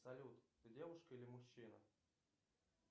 салют ты девушка или мужчина